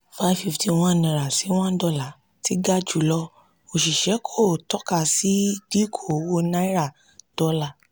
five fifty one naira si] one dollar ti ga jùlọ òṣìṣẹ́ kò tọ́ka sí dínkù owó náírà dọ́là